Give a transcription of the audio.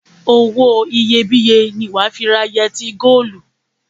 Owó iyebíye ni wà á fi ra yẹtí góólù.